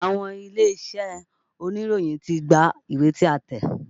Àwọn ilé-iṣẹ́ oníròyìn ti gba ìwé tí a tẹ̀.